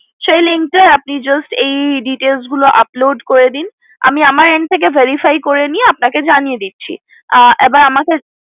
সেই link টা তে আপনি just এই details গুলো upload করে দিন আমি আমার end থেকে verify করে নিয়ে আপনাকে জানিয়ে দিচ্ছি আহ এবার আমাকে